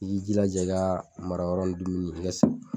I k'i jilaja i ka mara yɔrɔ ni dumuni i ka